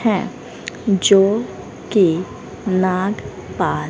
है जो की नाग पा--